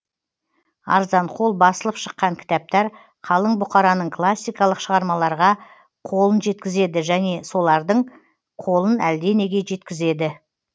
арзанқол басылып шыққан кітаптар қалың бұқараның классикалық шығармаларға қолын жеткізеді және олардың қолын әлденеге жеткізеді